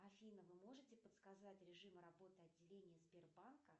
афина вы можете подсказать режим работы отделения сбербанка